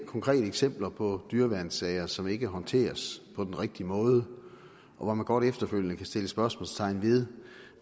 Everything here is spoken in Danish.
konkrete eksempler på dyreværnssager som ikke er håndteret på den rigtige måde og hvor man godt efterfølgende kan sætte spørgsmålstegn ved